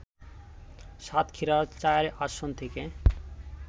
সাতক্ষীরা-৪ আসন থেকে